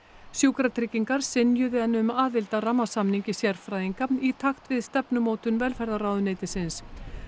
sjúkratryggingar synjuðu henni um aðild að rammasamningi sérfræðinga í takt við stefnumótun velferðarráðuneytisins